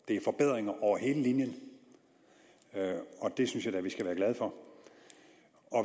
er forbedringer over hele linjen og det synes jeg da vi skal være glade for